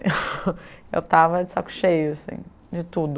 Eu estava de saco cheio de tudo.